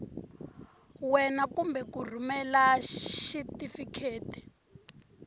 wena kumbe ku rhumela xitifiketi